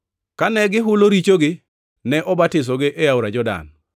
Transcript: Kane gihulo richogi, ne obatisogi e Aora Jordan.